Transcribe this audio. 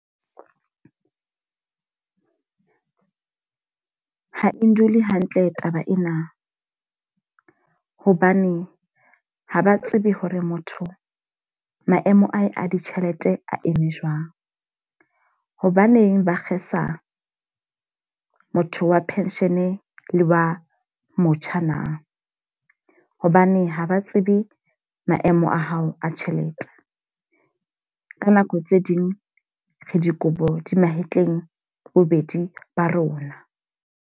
Ha e ndule hantle taba ena. Hobane ha ba tsebe hore motho maemo a ditjhelete a eme jwang. Hobaneng ba kgesa motho wa pension le wa motjha na? Hobane haba tsebe maemo a hao a tjhelete. Ka nako tse ding re dikobo di mahetleng bobedi ba rona.